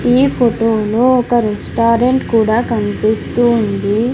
ఈ ఫొటో లో ఒక రెస్టారెంట్ కూడా కన్పిస్తూ ఉంది.